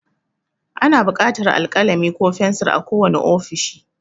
Ana buƙatar alkalami ko fensir a kowane ofishi.